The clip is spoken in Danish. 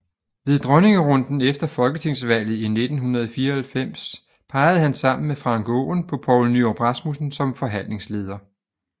Ved dronningerunden efter folketingsvalget i 1994 pegede han sammen med Frank Aaen på Poul Nyrup Rasmussen som forhandlingsleder